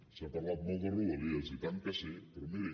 s’ha parlat molt de rodalies i tant que sí però miri